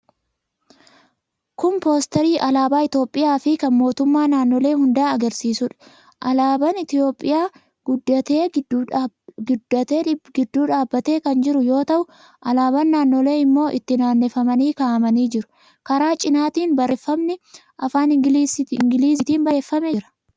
Kun poosterii alaabaa Itiyoophiyaa fi kan mootummoota naannolee hundaa agarsiisuudha. Alaabaan Itiyoophiyaa guddatee gidduu dhaabbatee kan jiru yoo ta'u, alaabaan naannolee immoo itti naanneffamanii kaa'amanii jiru. Karaa cinaatiin barreeffamne afaan Ingiliziitiin barreeffamee jira.